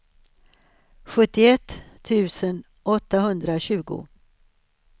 sjuttioett tusen åttahundratjugo